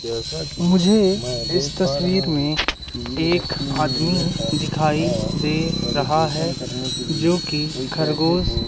मुझे इस तसवीर में एक आदमी दिखाई दे रहा है जो कि खरगोश--